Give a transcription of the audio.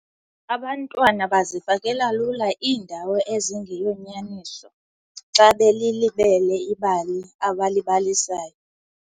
Abantwana bazifakela lula iindawo ezingeyonyaniso xa belilibele ibali abalibalisayo.